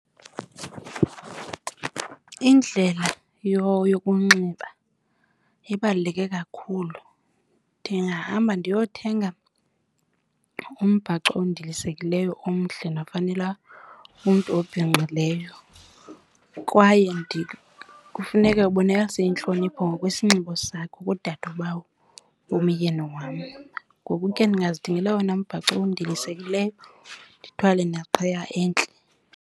Indlela yokunxiba ibaluleke kakhulu. Ndingahamba ndiyothenga umbhaco ondilisekileyo omhle nofanela umntu obhinqileyo. Kwaye kufuneka ubonakalise intlonipho ngokwesinxibo sakho kudadobawo womyeni wam, ngoku ke ndingazithengela owona mbhaco ondilisekileyo ndithwale neqhiya entle.